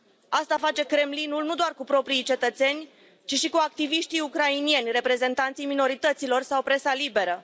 Asta face Kremlinul, nu doar cu proprii cetățeni, ci și cu activiștii ucraineni, reprezentanții minorităților sau presa liberă.